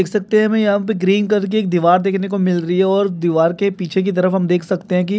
देख सकते है हमें यहाँ ग्रीन कलर की एक दिवाल देखने को मिल रही है और दिवाल के पीछे की तरफ़ हम देख सकते है कि--